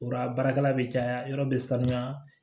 Yɔrɔ baarakɛla bɛ caya yɔrɔ bɛ sanuya